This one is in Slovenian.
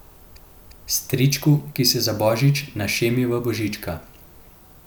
Stričku, ki se za božič našemi v božička.